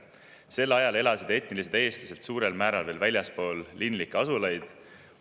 Sel ajal elasid etnilised eestlased suurel määral veel väljaspool linlikke asulaid.